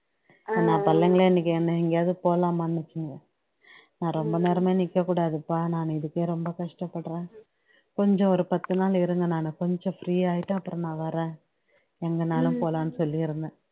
நா பிள்ளைங்களே இன்னைக்கு என்னைய எங்கையாவது போலாமான்னுச்சுங்க நான் ரொம்ப நேரமே நிக்கக்கூடாதுப்பா நான் இதுக்கே ரொம்ப கஷ்டப்படுறேன் கொஞ்சம் ஒரு பத்து நாள் இருங்க நானு கொஞ்சம் free ஆகிட்டு அப்பறம் நான் வரேன் எங்கன்னாலும் போகலான்னு சொல்லிருந்தேன்